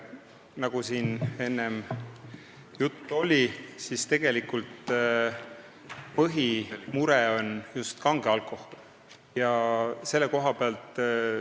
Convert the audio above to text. Nagu siin enne juttu oli, tegelikult on põhimure just kange alkohol.